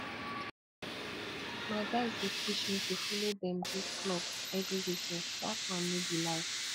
my guys dey push me to follow dem go club every weekend dat one no be life